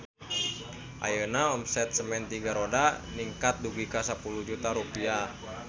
Ayeuna omset Semen Tiga Roda ningkat dugi ka 10 juta rupiah